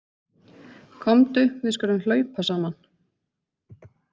Komdu við skulum hlaupa saman.